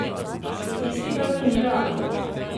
Statistika pa ni realna.